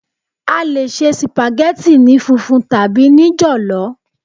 A lè se sìpàgẹ́tì ní funfun tàbí ní jọ̀lọ́.